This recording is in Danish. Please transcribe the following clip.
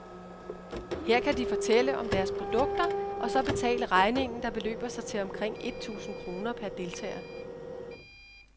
Her kan de fortælle om deres produkter, og så betale regningen, der beløber sig til omkring et tusind kroner per deltager.